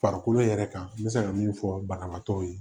Farikolo yɛrɛ kan n bɛ se ka mun fɔ banabaatɔw ye